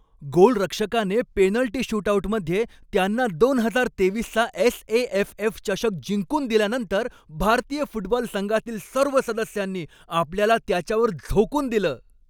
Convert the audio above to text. गोलरक्षकाने penalty शूटआऊटमध्ये त्यांना दोन हजार तेवीसचा एस.ए.एफ.एफ. चषक जिंकून दिल्यानंतर, भारतीय फुटबॉल संघातील सर्व सदस्यांनी आपल्याला त्याच्यावर झोकून दिलं.